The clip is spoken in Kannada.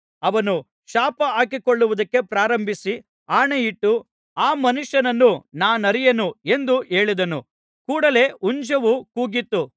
ಅವನು ಶಾಪಹಾಕಿಕೊಳ್ಳುವುದಕ್ಕೆ ಪ್ರಾರಂಭಿಸಿ ಆಣೆಯಿಟ್ಟು ಆ ಮನುಷ್ಯನನ್ನು ನಾನರಿಯೆನು ಎಂದು ಹೇಳಿದನು ಕೂಡಲೇ ಹುಂಜವೂ ಕೂಗಿತು